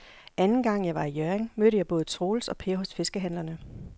Anden gang jeg var i Hjørring, mødte jeg både Troels og Per hos fiskehandlerne.